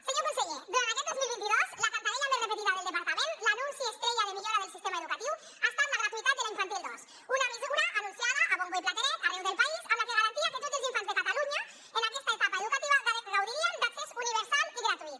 senyor conseller durant aquest dos mil vint dos la cantarella més repetida del departament l’anunci estrella de millora del sistema educatiu ha estat la gratuïtat de la infantil dos una mesura anunciada a bombo i platerets arreu del país amb la que garantia que tots els infants de catalunya en aquesta etapa educativa gaudirien d’accés universal i gratuït